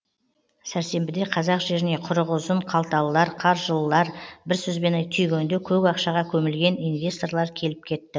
сәрсенбіде қазақ жеріне құрығы ұзын қалталылар қаржылылар бір сөзбен түйгенде көк ақшаға көмілген инвесторлар келіп кетті